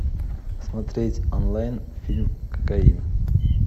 смотреть онлайн фильм кокаин